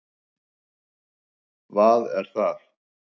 vað er það?